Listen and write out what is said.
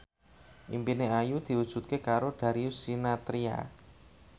impine Ayu diwujudke karo Darius Sinathrya